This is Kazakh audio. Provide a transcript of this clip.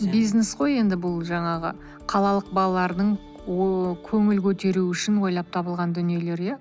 бизнес қой енді бұл жаңағы қалалық балалардың ооо көңіл көтеруі үшін ойлап табылған дүниелер иә